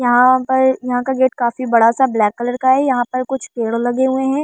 यहाँ पर यहाँ का गेट काफी बड़ा सा ब्लैक कलर का है यहाँ पर कुछ पेड़ लगे हुए है।